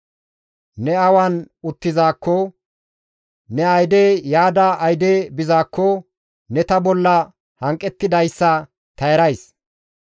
«Ne awan uttizaakko, Ne ayde yaada ayde bizaakko ne ta bolla hanqettidayssa ta erays.